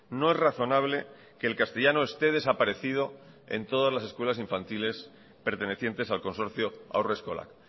no es razonable que el castellano esté desaparecido en todas las escuelas infantiles pertenecientes al consorcio haurreskolak